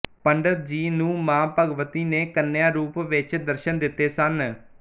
ਪੰਡਤ ਜੀ ਨੂੰ ਮਾਂ ਭਗਵਤੀ ਨੇ ਕੰਨਿਆ ਰੂਪ ਵਿੱਚ ਦਰਸ਼ਨ ਦਿੱਤੇ ਸਨ